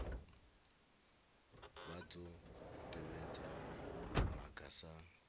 vha dzo tevhedza maga sa